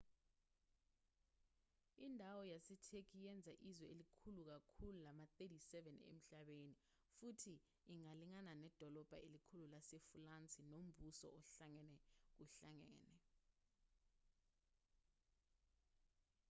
indawo yasetheki iyenza izwe elikhulu kakhulu lama-37 emhlabeni futhi ingalingana nedolobha elikhulu lasefulansi nombuso ohlangene kuhlangene